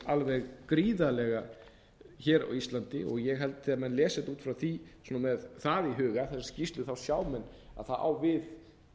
alveg gríðarlega hér á íslandi og ég held að þegar menn lesa þetta út frá því svona með það í huga þessa skýrslu þá sjá menn að það á við